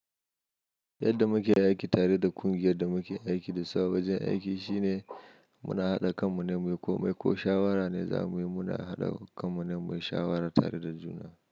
Yadda muke yi aiki tare da ƙungiyar da muke aiki dasu a wajen aiki shine muna haɗa kanmu ne muyi komai ko shawara ne zamuyi muna haɗa kanmu muyi shawara da juna.